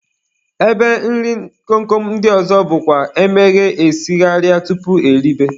Ebe nri kom kom ndị ọzọ bụkwa emeghee esigharịa tupu eribe